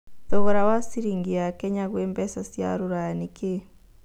thogora wa cĩrĩngĩ ya Kenya gwĩ mbeca cia rũraya nĩ kĩĩ